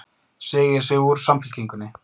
Segir sig úr Samfylkingunni